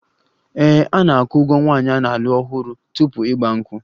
Ee, a na-akwụ ụgwọ nwaanyị a na-alụ ọhụrụ tupu 'Igba nkwu'